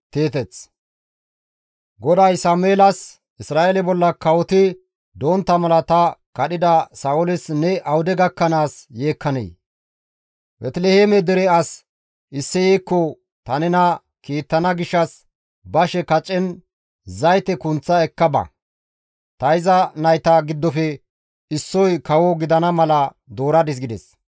GODAY Sameelas, «Isra7eele bolla kawoti dontta mala ta kadhida Sa7ooles ne awude gakkanaas yeekkanee? Beeteliheeme dere as Isseyekko ta nena kiittana gishshas bashe kacen zayte kunththa ekka ba; ta iza nayta giddofe issoy kawo gidana mala dooradis» gides.